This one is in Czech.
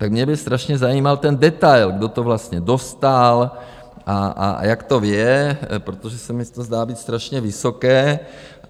Tak mě by strašně zajímal ten detail, kdo to vlastně dostal a jak to je, protože se mi to zdá být strašně vysoké.